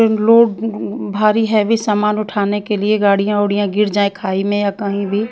लोग भारी हैवी सामने उठाने के लिए गाड़िया वादिय गिर जाये खाई में या कही भी--